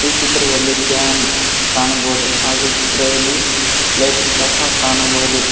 ಈ ಚಿತ್ರದಲ್ಲಿ ಫ್ಯಾನ್ ಕಾಣಬಹುದು ಹಾಗು ಇ ಚಿತ್ರದಲ್ಲಿ ಲೈಟ್ ಸಹ ಕಾಣಬಹುದು.